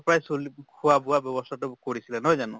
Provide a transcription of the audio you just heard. পাই চলি খোৱা বোৱা ব্য়ৱস্থা তো কৰিছিলে, নহয় জানো?